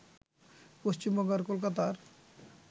পশ্চিমবঙ্গ আর কলকাতার